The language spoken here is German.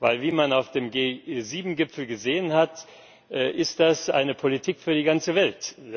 Denn wie man auf dem G7 Gipfel gesehen hat, ist das eine Politik für die ganze Welt.